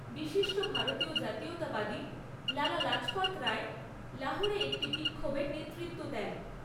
বিশিষ্ট ভারতীয় জাতীয়তাবাদী লালা লাজপত রায় লাহোরে একটি বিক্ষোভের নেতৃত্ব দেন।